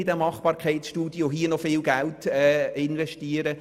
Ich möchte keine Machbarkeitsstudie und hier noch viel Geld investieren.